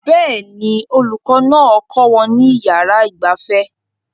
Bẹ́ẹ̀ ni olùkọ́ náà kọ́ wọn ní yàrá ìgbafẹ́